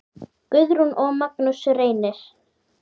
Guðrún og Magnús Reynir.